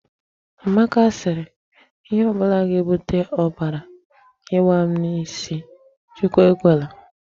Amaka sịrị, 'Ihe ọ bụla ga-ebute ọbara ịgba n'isi m, Chukwu ekwela'.